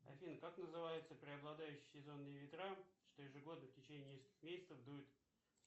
афина как называются преобладающие сезонные ветра что ежегодно в течение нескольких месяцев дуют